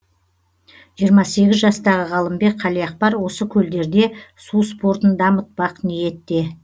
жиырма сегіз жастағы ғалымбек қалиақпар осы көлдерде су спортын дамытпақ ниетте